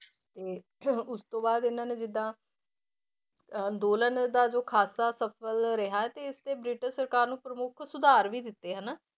ਤੇ ਉਸ ਤੋਂ ਬਾਅਦ ਇਹਨਾਂ ਨੇ ਜਿੱਦਾਂ ਅੰਦੋਲਨ ਦਾ ਜੋ ਖ਼ਾਸਾ ਸਫ਼ਲ ਰਿਹਾ ਤੇ ਇਸ ਤੇ ਬ੍ਰਿਟਿਸ਼ ਸਰਕਾਰ ਨੂੰ ਪ੍ਰਮੁੱਖ ਸੁਧਾਰ ਵੀ ਦਿੱਤੇ ਹਨਾ,